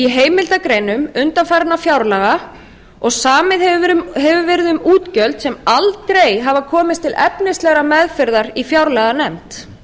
heimildargreinum undanfarinna fjárlaga og samið hefur verið um útgjöld sem aldrei hafa komið til efnislegrar meðferðar í fjárlaganefnd